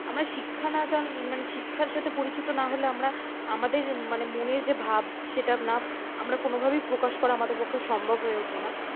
জেয়াম্রা শিক্ষা না জানলে মানে শিক্ষার সাথে পরিচিত না হলে আমরা আমাদের মানে মনের যে ভাব সেটা না আমরা কোনোভাবেই প্রকাশ করা আমাদের পক্ষে সম্ভব হয়ে ওঠে না।